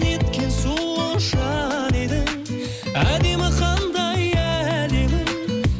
неткен сұлу жан едің әдемі қандай әлемің